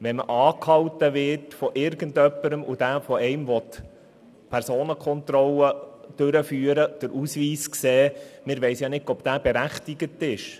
Wenn wir von irgendjemandem angehalten würden, der eine Personenkontrolle durchführen und den Ausweis sehen möchte, wüssten wir nicht, ob die Person dazu berechtigt ist.